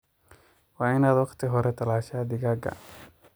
Waa inaad waqti hore talashaa digaaga.